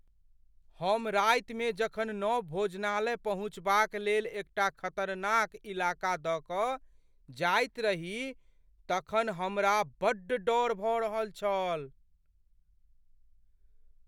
हम रातिमे जखन नव भोजनालय पहुँचबाक लेल एकटा खतरनाक इलाका दऽ कऽ जाइत रही तखन हमरा बड्ड डर भऽ रहल छल।